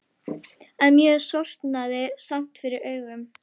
En mér sortnaði samt fyrir augum.